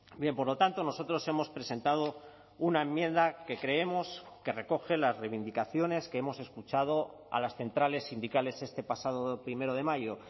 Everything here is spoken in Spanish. bien por lo tanto nosotros hemos presentado una enmienda que creemos que recoge las reivindicaciones que hemos escuchado a las centrales sindicales este pasado primero de mayo